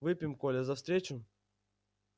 выпьем коля за встречу